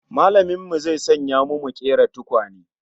Mallamin mu zai sanya mu mu kera tukwane